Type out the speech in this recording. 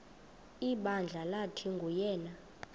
ibandla lathi nguyena